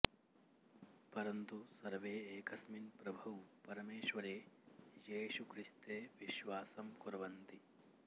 परन्तु सर्वे एकस्मिन् प्रभौ परमेश्वरे येशुक्रिस्ते विश्वासं कुर्वन्ति